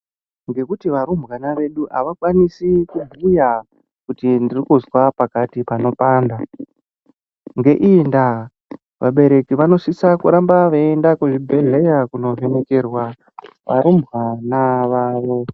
Ngekuti varumbwana vedu havakwanisi kubhuya kuti ndiri kuzwa pakati panopanda ngeiyi ndaa vabereki vanosiso kuramba veyienda kuzvibhedhlera kunoningirwa varumbwana vavo.